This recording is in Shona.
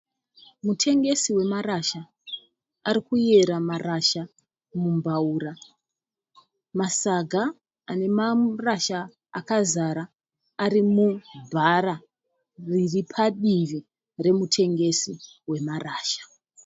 Mutengesi wemarasha arikuyera marasha mumbaura. Masaga ane marasha akazara ari mubhara riri padivi remutengesi wemarasha.